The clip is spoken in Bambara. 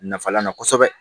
Nafalan na kosɛbɛ